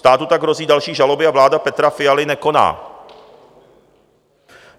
Státu tak hrozí další žaloby a vláda Petra Fialy nekoná.